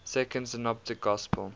second synoptic gospel